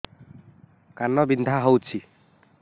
କାନ ବିନ୍ଧା ହଉଛି